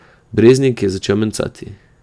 Breznik je začel mencati.